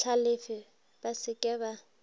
hlalefe ba se ke ba